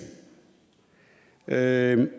er en